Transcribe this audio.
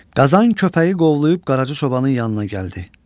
Qazan köpəyi qovlayıb Qaracı çobanın yanına gəldi.